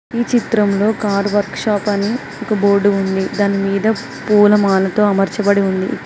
ఈ చిత్రంలో car workshop అని ఒక బోర్డు ఉంది దాని మీద పూలమాలతో అమర్చబడి ఉంది.